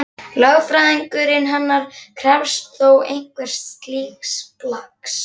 Lögfræðingurinn hennar krefst þó einhvers slíks plaggs.